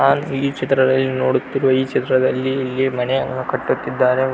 ನಾನು ಈ ಚಿತ್ರದಲ್ಲಿ ನೋಡುತ್ತಿರುವುದು ಈ ಚಿತ್ರದಲ್ಲಿ ಇಲ್ಲಿ ಮನೆಯನ್ನು ಕಟ್ಟುತ್ತಿದ್ದಾರೆ.